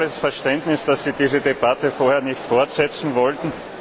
Ich habe volles Verständnis dafür, dass Sie diese Debatte vorher nicht fortsetzen wollten.